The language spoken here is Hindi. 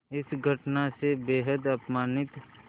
इस घटना से बेहद अपमानित